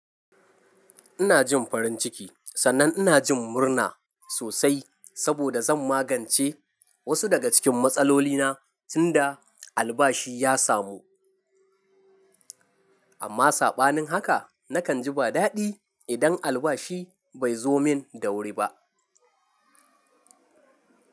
Ina jin farin ciki sannan ina jin murna sosai saboda zan magance wasu daga cikin matsalolina tunda albashi ya samu. Amma sabanin haka nakan ji ba dadi idan albashi bai zo min da wuri ba.